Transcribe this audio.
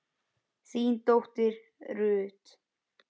þín dóttir Ruth.